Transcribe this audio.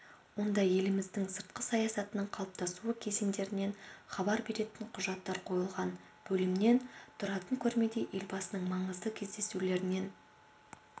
онда еліміздің сыртқы саясатының қалыптасуы кезеңдерінен хабар беретін құжаттар қойылған бөлімнен тұратын көрмеде елбасының маңызды кездесулерінен